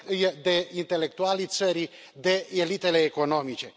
de intelectualii țării, de elitele economice.